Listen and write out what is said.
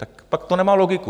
Tak pak to nemá logiku.